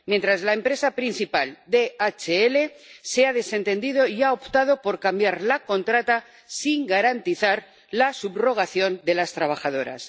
Mientras, la empresa principal —DHL— se ha desentendido y ha optado por cambiar la contrata sin garantizar la subrogación de las trabajadoras.